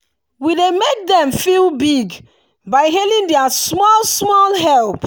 we dey make dem feel big by hailing their small-small help.